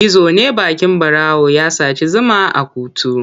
Gizo ne baƙin ɓarawo ya saci zuma a kuttu.